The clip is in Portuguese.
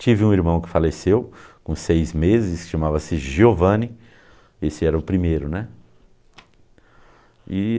Tive um irmão que faleceu com seis meses, chamava-se Giovanni, esse era o primeiro, né?